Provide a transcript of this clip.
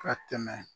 Ka tɛmɛ